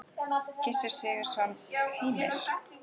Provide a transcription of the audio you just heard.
Gissur Sigurðsson: Heimir?